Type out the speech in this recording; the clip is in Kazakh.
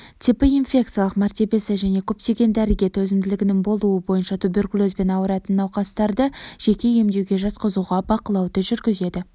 типі инфекциялық мәртебесі және көптеген дәріге төзімділігінің болуы бойынша туберкулезбен ауыратын науқастарды жеке емдеуге жатқызуға бақылауды жүргізеді